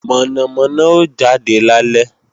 Mọ̀nàmọ́ná ó jade lálẹ́